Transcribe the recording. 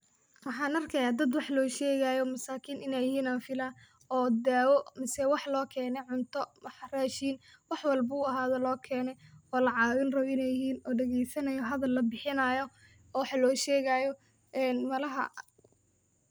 Waxaan arkayaa dad wax loo shegaayo ,masaakin iney yihiin aan filaa oo daawo mase wax loo keene ,cunto, rashiin wax walbo uu ahaado loo keene oo la caawin rabo iney yihiin oo dhageysanayo hadal la bixinayo oo wax loo shegaayo een malaha.